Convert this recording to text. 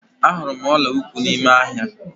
Ahụrụ m ọla ụkwụ n'ime ahịa.